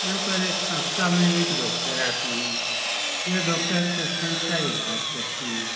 यहां पर एक हप्ता में एक डॉक्टर आते हैं। यह डॉक्टर पेशेंट का इलाज करते हैं।